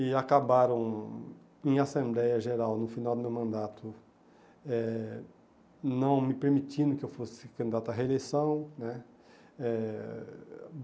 E acabaram, em assembleia geral, no final do meu mandato, eh não me permitindo que eu fosse candidato à reeleição né. Eh